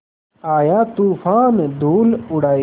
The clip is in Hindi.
आया तूफ़ान धूल उड़ाए